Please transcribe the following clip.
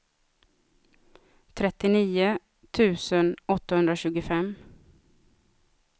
trettionio tusen åttahundratjugofem